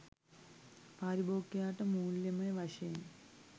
පාරිභෝගිකයාට මුල්‍යමය වශයෙන්